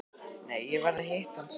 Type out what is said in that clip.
Nei, ég verð að hitta hann strax.